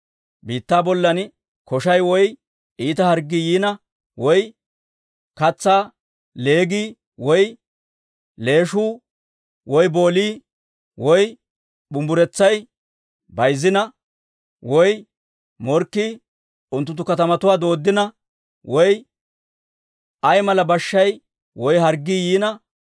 «Biittaa bollan koshay woy iita harggii yiina, woy katsaa leegii, woy leeshuu, woy boolii, woy bumbburetsay bayzzina, woy morkkii unttunttu katamatuwaa dooddina, woy ayaa mala bashshay woy harggii yiina,